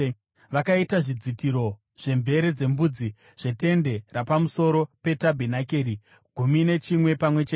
Vakaita zvidzitiro zvemvere dzembudzi zvetende rapamusoro petabhenakeri, gumi nechimwe pamwe chete.